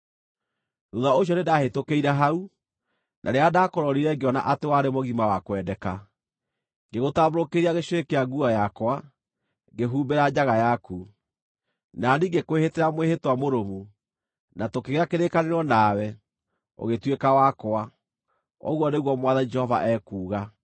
“ ‘Thuutha ũcio nĩndahĩtũkĩire hau, na rĩrĩa ndaakũrorire ngĩona atĩ warĩ mũgima wa kwendeka, ngĩgũtambũrũkĩria gĩcũrĩ kĩa nguo yakwa, ngĩhumbĩra njaga yaku. Na niĩ ngĩkwĩhĩtĩra mwĩhĩtwa mũrũmu, na tũkĩgĩa kĩrĩkanĩro nawe, ũgĩtuĩka wakwa, ũguo nĩguo Mwathani Jehova ekuuga.